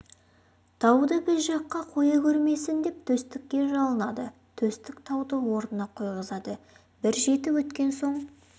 тауды біз жаққа қоя көрмесін деп төстікке жалынады төстік тауды орнына қойғызады бір жеті өткен соң